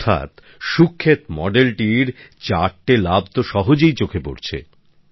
অর্থাৎ সুখেত মডেলটির ৪টে লাভ তো সহজেই চোখে পড়ছে